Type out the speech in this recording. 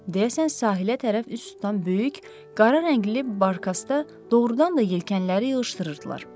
Deyəsən sahilə tərəf üz tutan böyük, qara rəngli barkasda doğrudan da yelkənləri yığışdırırdılar.